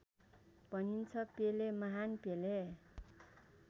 भनिन्छ पेले महान् पेले